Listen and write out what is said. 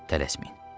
Tələsməyin.